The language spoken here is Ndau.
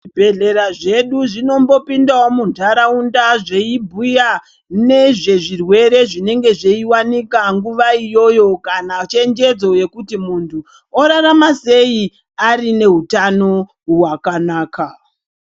Zvibhedhlera zvedu zvinombopindawo muntaraunda zveibhuya nezvezvirwere zvinenge zveiwanika nguva iyoyo kana chenjedzo yekuti muntu orarama sei arinehutano hwakanaka.